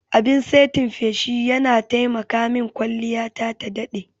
Abin saitin feshi yana taimaka min kwalliyata ta daɗe.